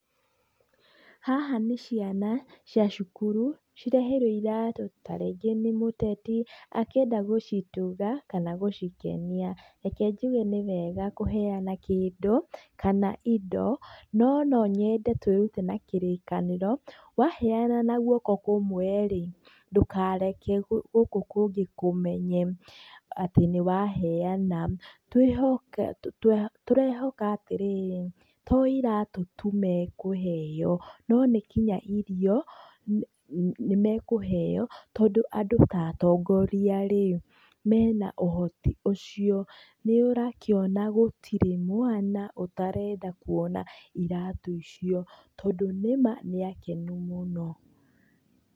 Haha nĩ ciana cia cukuru ireheirwo iratũ ta rĩngĩ nĩ mũtetu akĩenda gũcituga kana gũcikenia , reke njuge nĩ wega kũheana kĩndũ kana indo na nonyende twĩrute na kĩrĩkanĩro waheana na guoko kũmwe rĩ, ndũkareke gũkũ kũngĩ kũmenye atĩ nĩ waheana, tũrehoka atĩrĩrĩ to iratũ tu makũheo ona nginya irio rĩ no makũheo, andũ ta ũtongoria mena ũhoti ũcio, nĩ ũrakĩona atĩ hatirĩ mwana ũtarenda kwona iratũ icio tondũ nĩ ma nĩ akenu mũno.